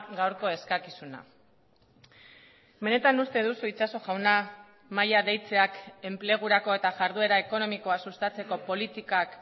gaurko eskakizuna benetan uste duzu itxaso jauna mahaia deitzeak enplegurako eta jarduera ekonomikoa sustatzeko politikak